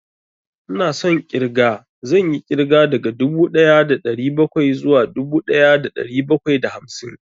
Ina son ƙirga, zan yi ƙirga daga dubu ɗaya da ɗari bakwai zuwa dubu ɗaya da ɗari bakwai da hamsin